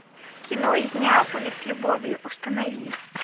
кино из неаполя с любовью установи